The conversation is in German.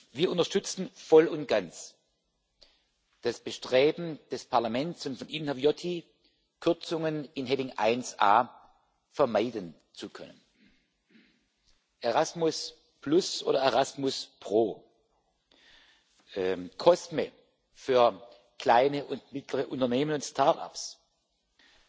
Wir unterstützen voll und ganz das Bestreben des Parlaments und von Ihnen, Herr Viotti, Kürzungen unter der Rubrik 1a vermeiden zu können Erasmus oder ErasmusPro, COSME für kleine und mittlere Unternehmen und Startups, die Fazilität